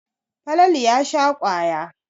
Falalu ya sha kwaya.